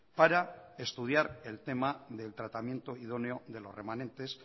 para estudiar el tema del tratamiento idóneo de los remanentes